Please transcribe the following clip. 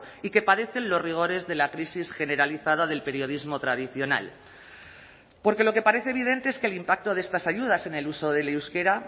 y que padecen los rigores de la crisis generalizada del periodismo tradicional porque lo que parece evidente es que el impacto de estas ayudas en el uso del euskera